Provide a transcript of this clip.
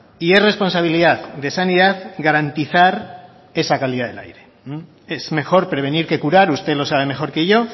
y es responsabilidad de sanidad garantizar esa calidad del aire es mejor prevenir que curar usted lo sabe mejor que yo